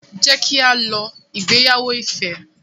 Jẹ ki a lọ ìgbéyàwó Ife.